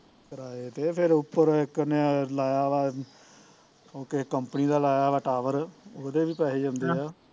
ਕਿਰਾਏ ਤੇ ਫਿਰ ਉੱਪਰ ਇੱਕ ਨੇ ਲਾਇਆ ਵਾਂ ਉਹ ਕਿਸੇ company ਦਾ ਲਾਇਆ tower ਉਹਦੇ ਵੀ ਪੈਸੇ ਜਾਂਦੇ ਆ